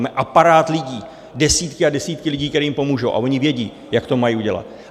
Mají aparát lidí, desítky a desítky lidí, kteří jim pomůžou, a oni vědí, jak to mají udělat.